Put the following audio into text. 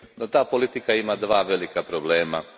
no ta politika ima dva velika problema.